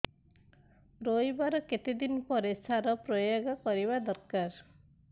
ରୋଈବା ର କେତେ ଦିନ ପରେ ସାର ପ୍ରୋୟାଗ କରିବା ଦରକାର